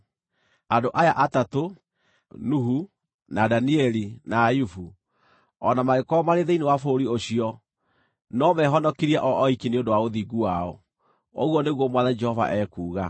andũ aya atatũ, Nuhu, na Danieli, na Ayubu, o na mangĩkorwo maarĩ thĩinĩ wa bũrũri ũcio, no mehonokirie o oiki nĩ ũndũ wa ũthingu wao, ũguo nĩguo Mwathani Jehova ekuuga.